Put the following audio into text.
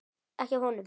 Ekki af honum.